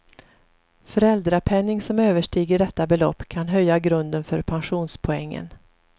Föräldrapenning som överstiger detta belopp kan höja grunden för pensionspoängen.